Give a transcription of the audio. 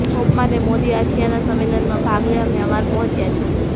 Obama અને Modi ASEAN સંમેલનમાં ભાગ લેવા મ્યાંમાર પહોંચ્યા છે